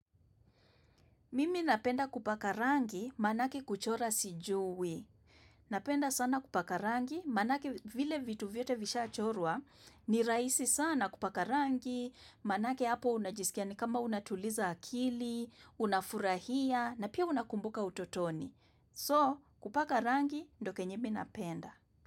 Mimi napenda kupaka rangi maanake kuchora sijui. Napenda sana kupaka rangi maanake vile vitu vyote vishaa chorwa ni rahisi sana kupaka rangi maanake hapo unajisikia ni kama unatuliza akili, unafurahia na pia unakumbuka utotoni. So kupaka rangi ndo kenye mi napenda.